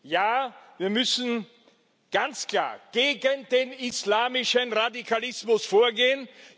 Ja, wir müssen ganz klar gegen den islamischen Radikalismus vorgehen.